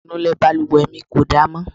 Aṣọ ìnulẹ̀ balùwẹ̀ mi kò da mọ́.